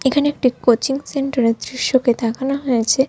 এখানে একটি coaching centre এর দৃশ্যকে দেখানো হয়েছে।